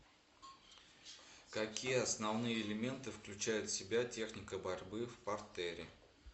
какие основные элементы включает в себя техника борьбы в партере